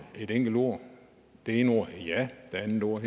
et enkelt ord det ene ord er ja og det andet ord